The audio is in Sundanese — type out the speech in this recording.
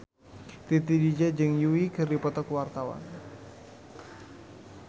Titi DJ jeung Yui keur dipoto ku wartawan